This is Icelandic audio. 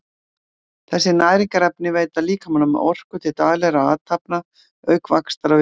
Þessi næringarefni veita líkamanum orku til daglegra athafna auk vaxtar og viðhalds.